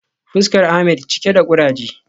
Fuskar Ahmed cike da kuraje